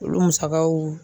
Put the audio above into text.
Olu musagaw